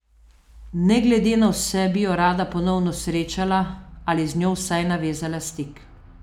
Ne glede na vse bi jo rada ponovno srečala ali z njo vsaj navezala stik.